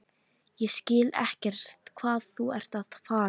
Ég skil ekkert hvað þú ert að fara.